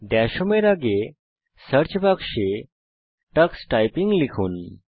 Das home এর আগে search বাক্সে টাক্স টাইপিং লিখুন